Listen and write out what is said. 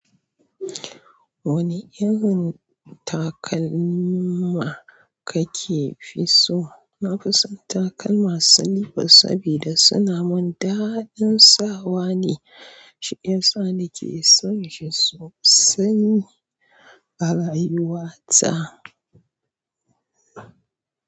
Wani irin takalma kake fi so? Na fi son takalma silifas sabida suna mun daɗin sawa ne. Shi yasa nake son shi sosai a rayuwa ta.